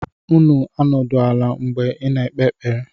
Unu anọdụ ala mgbe! na ekpe ekpere!